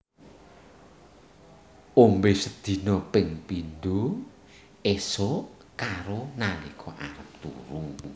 Ombe sedina ping pindho esuk karo nalika arep turu